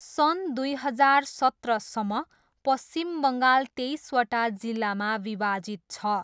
सन् दुई हजार सत्रसम्म, पश्चिम बङ्गाल तेइसवटा जिल्लामा विभाजित छ।